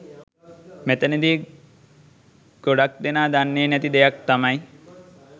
මෙතනදි ගොඩක් දෙනා දන්නේ නැති දෙයක් තමයි